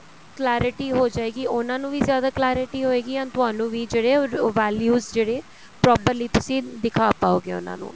clarity ਹੋ ਜਾਏਗੀ ਉਹਨਾ ਨੂੰ ਵੀ ਜਿਆਦਾ clarity ਹੋਏਗੀ and ਤੁਹਾਨੂੰ ਵੀ ਜਿਹੜੇ ਉਹ values ਜਿਹੜੇ properly ਤੁਸੀਂ ਦਿਖਾ ਪਾਉਗੇ ਉਹਨਾ ਨੂੰ